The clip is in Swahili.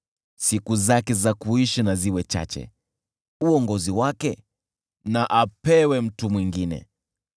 Siku zake za kuishi na ziwe chache, nafasi yake ya uongozi ichukuliwe na mtu mwingine.